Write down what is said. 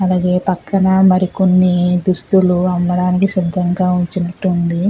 అలాగే పక్కన మరి కొన్ని దుస్తులు అమ్మడానికి సిద్ధంగా ఉంచినట్టు ఉంది.